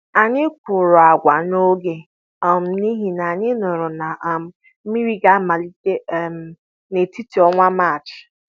Anyị kụrụ agwa n'oge um n'ihi na anyị nụrụ na um mmiri ga-amalite um n'etiti ọnwa Maachị.